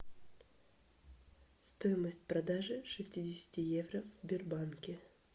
стоимость продажи шестидесяти евро в сбербанке